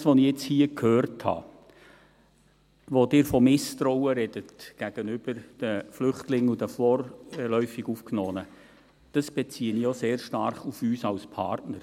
Das, was ich jetzt hier gehört habe, wo Sie von Misstrauen sprechen gegenüber den Flüchtlingen und den vorläufig Aufgenommenen, das beziehe ich auch sehr stark auf uns als Partner.